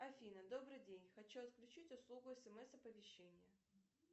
афина добрый день хочу отключить услугу смс оповещения